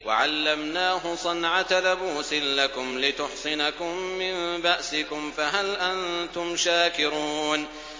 وَعَلَّمْنَاهُ صَنْعَةَ لَبُوسٍ لَّكُمْ لِتُحْصِنَكُم مِّن بَأْسِكُمْ ۖ فَهَلْ أَنتُمْ شَاكِرُونَ